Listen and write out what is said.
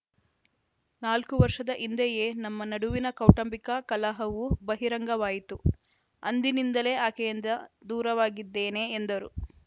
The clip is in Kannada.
ನಾಲ್ಕು ವರ್ಷದ ಹಿಂದೆಯೇ ನಮ್ಮ ನಡುವಿನ ಕೌಟಂಬಿಕ ಕಲಹವು ಬಹಿರಂಗವಾಯಿತು ಅಂದಿನಿಂದಲೇ ಆಕೆಯಿಂದ ದೂರವಾಗಿದ್ದೇನೆ ಎಂದರು